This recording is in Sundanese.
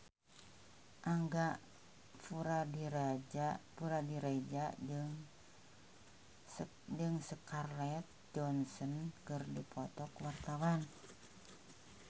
Angga Puradiredja jeung Scarlett Johansson keur dipoto ku wartawan